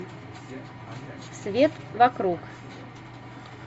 свет вокруг